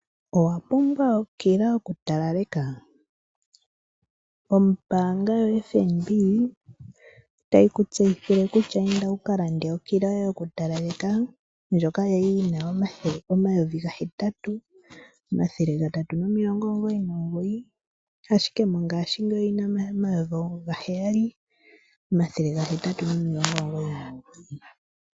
Owa pumbwa okila yoku talaleka? ombaanga yo FNB otayi ku tseyithile kutya inda wuka lande okila yoye yoku talaleka, ndjoka yali yina omayovi ga hetatu omathele gatatu nomilongo omugoyi nomugoyi, ashike mongaashingeyi oyina omayovi ga heyali omathele ga hetatu nomilongo omugoyi nomugoyi.